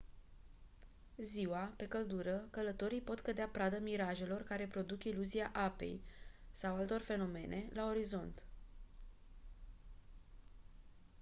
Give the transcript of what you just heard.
ziua pe căldură călătorii pot cădea pradă mirajelor care care produc iluzia apei sau altor fenomene la orizont